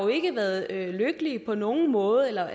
ikke har været lykkelige på nogen måde eller at